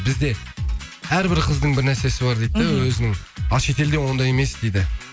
бізде әрбір қыздың бір нәрсесі бар дейді да өзінің а шетелде ондай емес дейді